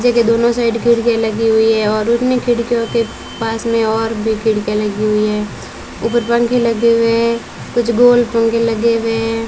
जे के दोनों साइड खिड़कीया लगी हुई हैं और उन्हीं खिड़कियों के पास मैं और भी खिड़कियां लगी हुई हैं ऊपर पंखे लगे हुए हैं कुछ गोल पंखे लगे हुए हैं।